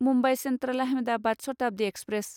Mumbai central Ahmedabad Shatabdi express